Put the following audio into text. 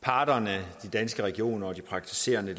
parterne danske regioner og praktiserende